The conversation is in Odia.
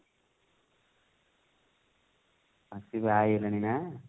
ବାହା ହେଇଗଲାଣି ନା?